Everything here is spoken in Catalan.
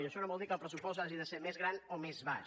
i això no vol dir que el pressupost hagi de ser més gran o més baix